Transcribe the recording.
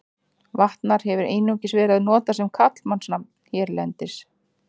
Vatnar hefur einungis verið notað sem karlmannsnafn hérlendis.